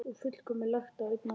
Og fullmikið lagt á einn mann.